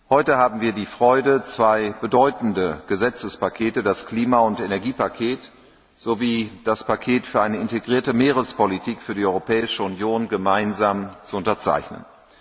Heute haben wir die Freude, zwei bedeutende Gesetzespakete, das Klima und Energiepaket sowie das Paket für eine integrierte Meerespolitik für die Europäische Union, gemeinsam zu unterzeichnen.